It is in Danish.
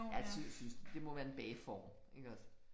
Ja det synes ja det må være en bageform iggås